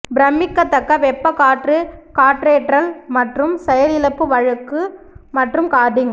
பிரமிக்கத்தக்க வெப்ப காற்று காற்றேற்றல் மற்றும் செயலிழப்பு வழுக்கு மற்றும் கார்டிங்